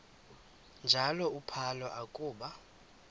njalo uphalo akuba